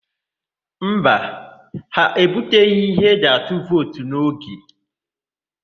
Mba, ha ebuteghị ihe eji atụ vootu n'oge.